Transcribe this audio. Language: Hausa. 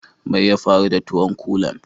Mai ya faru da tuwon kulan?